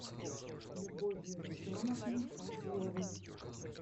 любовью руслановной фазыловой